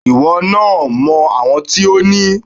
Ìwọ náà mọ àwọn tí o ní.